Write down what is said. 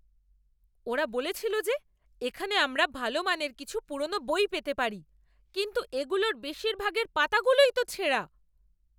ওরা বলেছিল যে এখানে আমরা ভালো মানের কিছু পুরনো বই পেতে পারি, কিন্তু এগুলোর বেশিরভাগের পাতাগুলোই তো ছেঁড়া।